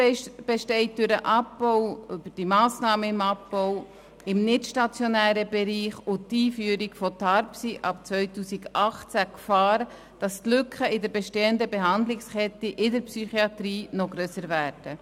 Durch die Massnahmen beim Abbau im nichtstationären Bereich und die Einführung der neuen Tarifstruktur für die stationäre Psychiatrie (TARPSY) ab 2018 besteht die Gefahr, dass die Lücken in der bestehenden Behandlungskette in der Psychiatrie noch grösser werden.